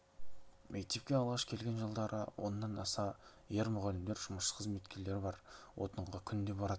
мектепке алғаш келген жылдары оннан аса ер мұғалімдер жұмысшы қызметкерлер бар отынға күнде баратынбыз